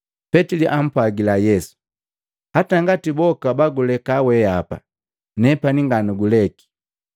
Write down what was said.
Petili apwagila Yesu, “Hata ngati boka baguleka weapa, nepani nganuguleki.”